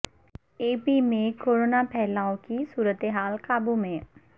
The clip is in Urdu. اے پی میں کورونا پھیلاو کی صورتحال قابو میں